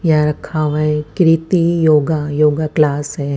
यहां रखा हुआ एक कृति योगा योग क्लास है।